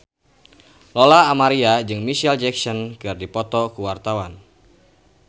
Lola Amaria jeung Micheal Jackson keur dipoto ku wartawan